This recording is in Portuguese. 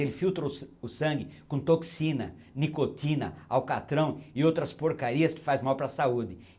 Ele filtra o sa, o sangue com toxina, nicotina, alcatrão e outras porcarias que faz mal para a saúde.